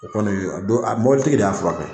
O kɔni a don a mɔbili tigi de y'a furakɛ.